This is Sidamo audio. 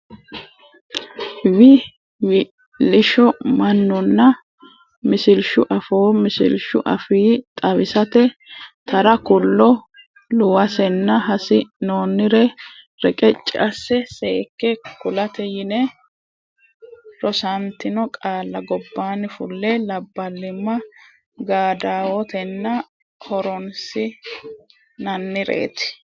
Wi wi lisho mannuna Misilshu Afoo Misilshu afii xawisate Tara kullo luwasena hasi noonnire reqecci asse seekke kulate yine rosantino qaalla gobbaanni fulle Labballimma gaaddawotena horoonsi nannireeti.